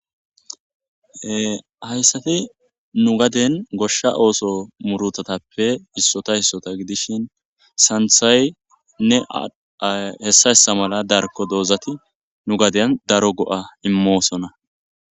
hayssati nu gaden goshsha ooso murutatappe issota issota gidishin santhay nne hessa hessa mala darko doozati nu gaden daro go7a immoosona